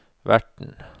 verten